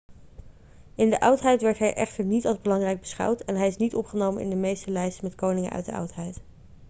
in de oudheid werd hij echter niet als belangrijk beschouwd en hij is niet opgenomen in de meeste lijsten met koningen uit de oudheid